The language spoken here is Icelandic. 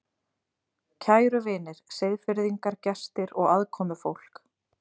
Kæru vinir, Seyðfirðingar, gestir og aðkomufólk